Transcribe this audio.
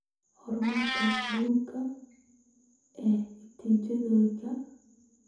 Horumarka guud ee natiijooyinka.